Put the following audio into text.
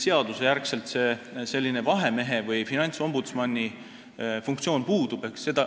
Seaduse järgi meil küll sellise vahemehe või finantsombudsmani funktsioon puudub.